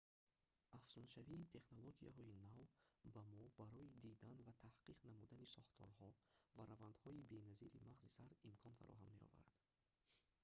афзуншавии технологияҳои нав ба мо барои дидан ва таҳқиқ намудани сохторҳо ва равандҳои беназири мағзи сар имкон фароҳам меоварад